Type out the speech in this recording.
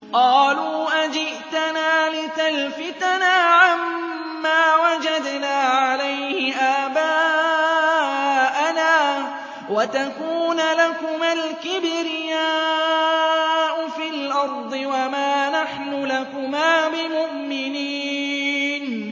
قَالُوا أَجِئْتَنَا لِتَلْفِتَنَا عَمَّا وَجَدْنَا عَلَيْهِ آبَاءَنَا وَتَكُونَ لَكُمَا الْكِبْرِيَاءُ فِي الْأَرْضِ وَمَا نَحْنُ لَكُمَا بِمُؤْمِنِينَ